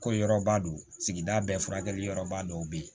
Ko yɔrɔba don sigida bɛɛ furakɛli yɔrɔba dɔ be ye